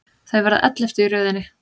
Þau verða elleftu í röðinni.